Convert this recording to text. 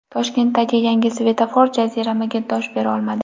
Toshkentdagi yangi svetofor jaziramaga dosh bera olmadi.